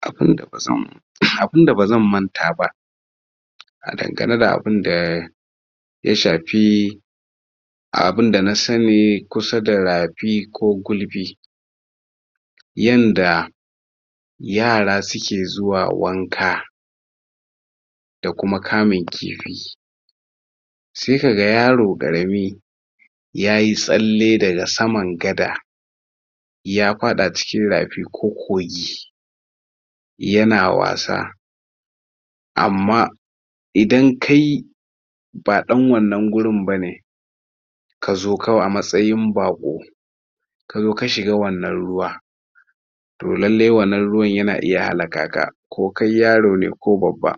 Abun da ba zan abunda ba zan manta ba a? abun da ya shapi abunda na sani kusa da rapi ko gulbi yanda yara su ke zuwa wanka da kuma kamin kifi Sai ka ga yaro karami ya yi tsalle da ga saman gada ya fada a cikin rapi ko kogi ya na wassa amma idan kai ba dan wannan gurin ba ne ka zo kawai a matsayin bako ka zo ka shiga wannan ruwa toh lallai wannan ruwa ya na iya hallaka ka ko kai yaro ne ko kai babba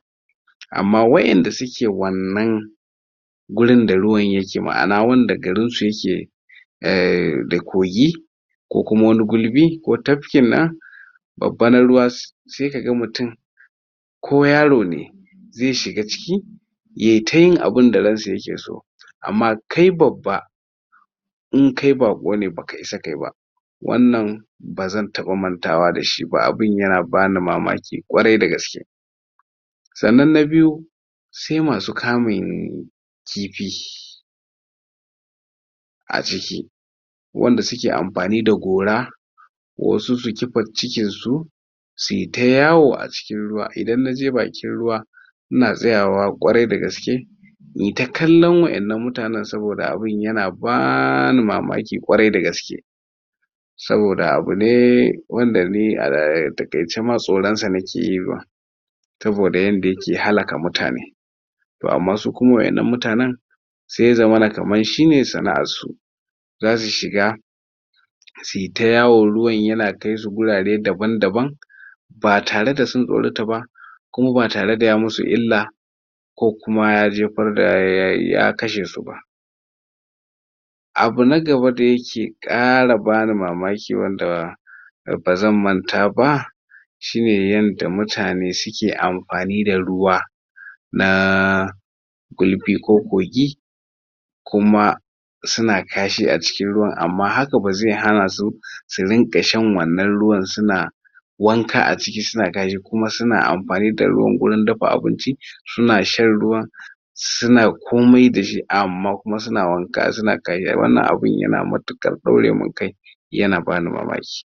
amma waƴanda su ke wannan gurin da ruwan ya ke maana, wanda garin su ya ke ehh da kogi ko kuma wani gulbi ko tapki na babba na ruwa sai ka gan mutum ko yaro ne zai shiga ciki ya yi ta yin abun da ran sa ya ke so amma kai babba in kai bako ne ba ka isa ka yi ba wannan, bazan taba mantawa dashi ba, abun ya na ba ni mamaki kwarai da gaske sanan na biyu sai ma su kamin kifi a ciki wanda su ke amfani da gora wa su su kipar cikir su su yi ta yawo a cikir ruwa, Idan na je bakin ruwa ina tsayawa kwarai da gaske in yi ta kallon waƴennan mutanen saboda abun ya na ba ni mamaki kwarai da gaske saboda abun ne, wanda ni a? takance ma tsoron sa na ke yi ma. Saboda yanda ya ke halaka mutane toh amma su kuma waƴannan mutanen sai ya zamana kamar shi ne sanaar su Za su shiga su yi ta yawo ruwan ya na kai su gurare daban-daban ba tare da sun tsorota ba ku ma ba tare da ya musu illa ko kuma ya jefar da? ya kashe su ba abu na gaba da ya ke kara ba ni mamaki wanda ba zan manta ba shi ne yan da mutane su ke amfani da ruwa na kulfi ko kogi kuma su na kashi a ciin ruwan amma ha ka ba zai hana su, su rinka shan wannan ruwan su na wanka a ciki su na gayyu kuma su na amfanin da ruwan gurin dafa abinci su na shan ruwan su na komai da shi amma kuma su na wanka su na karya, wannan abun ya na matukar daure mun kai ya na ba ni mamaki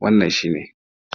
wannan shi ne